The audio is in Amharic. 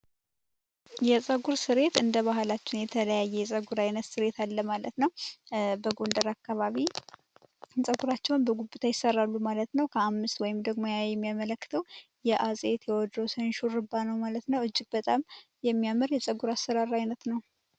የፀጉር ስርየት እንደ ባህላችን የተለያየ አይነት የፀጉር ስሬት አለ ማለት ነው በጎንደር አካባቢ ጸጉራቸውን በጉብታ ይሰራሉ ማለት ነው ከአምስት የሚሰሩ ሲሆን ያ የሚያመለክተው የአፄ ቴዎድሮስን የሹሩባ ነው ማለት ነው እጅግ በጣም የሚያምር የፀጉር አሰራር ነው።